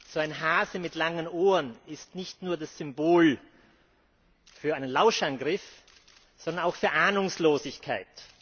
So ein Hase mit langen Ohren ist nicht nur das Symbol für einen Lauschangriff, sondern auch für Ahnungslosigkeit.